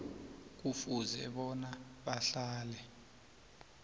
kufuze bona bahlale